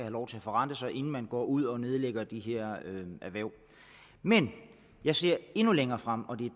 lov til at forrente sig inden man går ud og nedlægger de her erhverv men jeg ser endnu længere frem og det